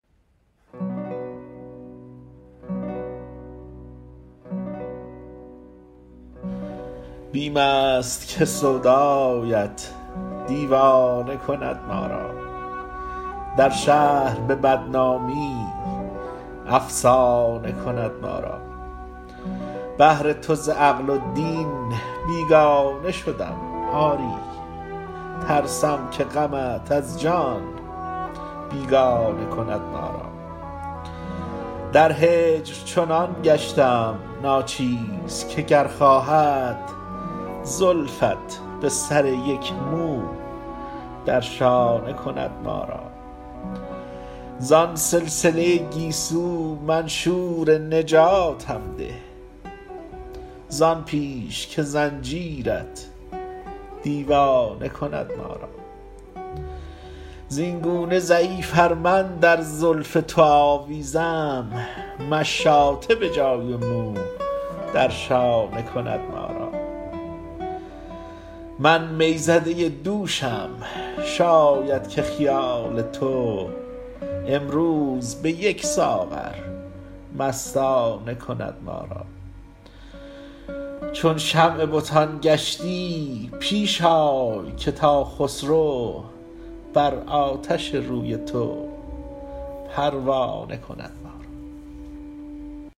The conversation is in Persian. بیم است که سودایت دیوانه کند ما را در شهر به بدنامی افسانه کند ما را بهر تو ز عقل و دین بیگانه شدم آری ترسم که غمت از جان بیگانه کند ما را در هجر چنان گشتم ناچیز که گر خواهد زلفت به سر یک مو در شانه کند ما را زان سلسله گیسو منشور نجاتم ده زان پیش که زنجیرت دیوانه کند ما را زینگونه ضعیف ار من در زلف تو آویزم مشاطه به جای مو در شانه کند ما را من می زده دوشم شاید که خیال تو امروز به یک ساغر مستانه کند ما را چون شمع بتان گشتی پیش آی که تا خسرو بر آتش روی تو پروانه کند ما را